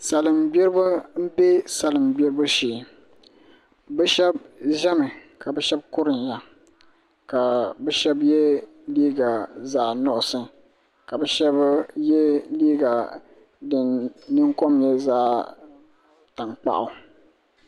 Salin gbiribi n bɛ salima gbibu shee bi shab ʒɛmi ka bi shab kuriya ka bi shab yɛ liiga zaɣ nuɣso ka bi shab yɛ liiga din ningbuni kom nyɛ zaɣ tankpaɣu